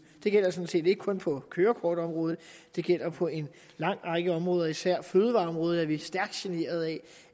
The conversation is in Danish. det gælder sådan set ikke kun på kørekortområdet det gælder på en lang række områder især på fødevareområdet er vi stærkt generet af